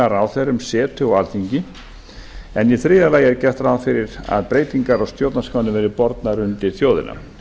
ráðherrum setu á alþingi en í þriðja lagi er gert ráð fyrir að breytingar á stjórnarskránni verði bornar undir þjóðina